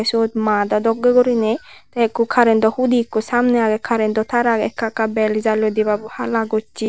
sod mado dokke gurine te ikko current toh hudi ikko samne aage current to tar aage ekka ekka bel jalloide debabo hala gosse.